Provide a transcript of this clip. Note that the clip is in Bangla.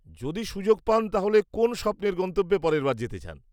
-যদি সুযোগ পান তাহলে কোন স্বপ্নের গন্তব্যে পরের বার যেতে চান?